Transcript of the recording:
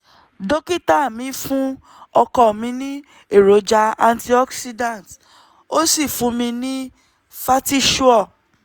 dókítà mi fún ọkọ mi ní èròjà antioxidants ó sì fún mi ní fertisure-f